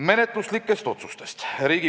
Menetluslikest otsustest.